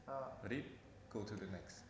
Yusuf kenal musik ing umur kang relatif nom